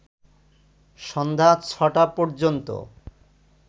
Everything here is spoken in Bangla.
সন্ধ্যা ৬টা পর্যন্ত